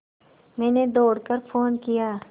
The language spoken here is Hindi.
मैंने दौड़ कर फ़ोन किया